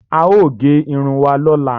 Aò gé irun wà lọla.